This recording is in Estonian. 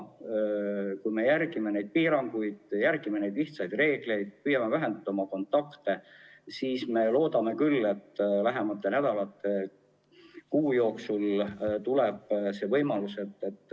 Kui me järgime piiranguid, neid lihtsaid reegleid, ja püüame vähendada oma kontakte, siis võib loota küll, et lähinädalate või kuu jooksul nakkuskordaja kahaneb.